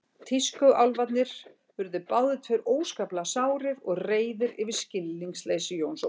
Tískuálfarnir urðu báðir tveir óskaplega sárir og reiðir yfir skilningsleysi Jóns Ólafs.